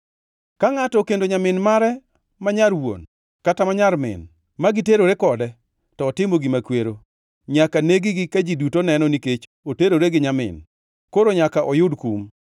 Ka ngʼato okendo nyamin mare ma nyar wuon kata ma nyar min, ma giterore kode, to otimo gima kwero. Nyaka neg-gi ka ji duto neno nikech oterore gi nyamin, koro nyaka oyud kum.